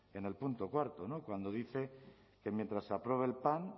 en el punto cuarto cuando dice que mientras se aprueba el pan